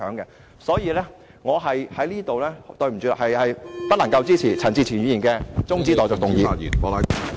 因此，抱歉，我不能支持......陳志全議員的中止待續議案。